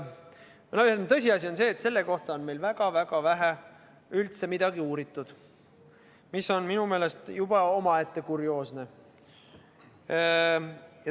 Tõsiasi on see, et seda on meil üldse väga-väga vähe uuritud, mis on minu meelest juba omaette kurioosne.